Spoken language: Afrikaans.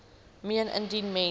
meen indien mens